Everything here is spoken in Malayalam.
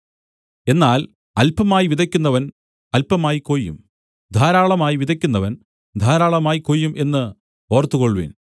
എന്നാൽ അല്പമായി വിതയ്ക്കുന്നവൻ അല്പമായി കൊയ്യും ധാരാളമായി വിതയ്ക്കുന്നവൻ ധാരാളമായി കൊയ്യും എന്ന് ഓർത്തുകൊള്ളുവിൻ